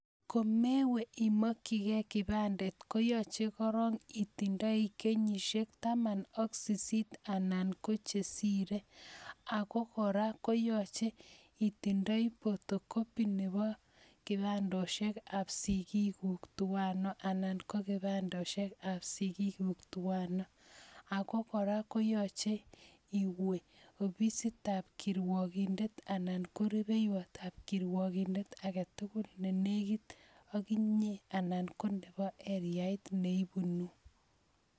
Komewe imakchigei kipandet koyache korok itindoi kenyisiek taman ak sisit anan che sire ako kora koyache itindoi photocopy nebo kibandoshekab sikikuk tuwano anan ko kipandoshekab sigikuk tuwano, ako kora koyache iwe oi ofisitab kirwokindet anan ko ripeiwotab kirwkindet age tugul ne negit ak inye anan ko nibo areait ne ibunu.